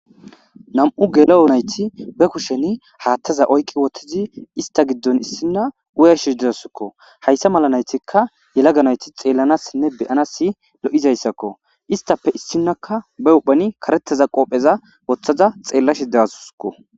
Nam7u gela7o nayti be kusheni haattaza oyqi wottizi ista giddon issinna uya shisdezasakko hayssa mala naytikka yelaganayti xeellanassinne beyana si lo7izayssakko istappe issinaka ba uphani karettaza qoopheza woththaza xeella shidewaskko.